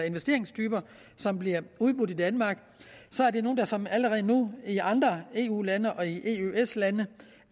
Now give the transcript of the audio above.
investeringstyper som bliver udbudt i danmark er nogle der såmænd allerede nu i andre eu lande og i eøs lande